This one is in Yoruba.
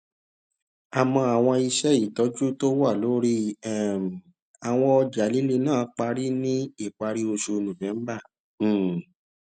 yọ owó kúrò nínú àkáǹtì túmọ sí fọwọsí owó lórí apá òsì dẹbíítì